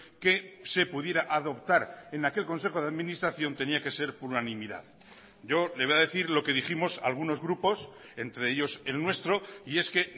que se pudiera adoptar en aquel consejo de administración tenía que ser por unanimidad yo le voy a decir lo que dijimos algunos grupos entre ellos el nuestro y es que